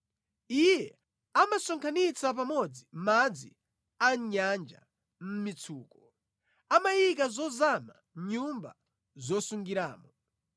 Iye amasonkhanitsa pamodzi madzi a mʼnyanja mʼmitsuko; amayika zozama mʼnyumba zosungiramo.